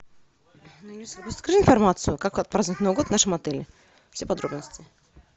расскажи информацию как отпраздновать новый год в нашем отеле все подробности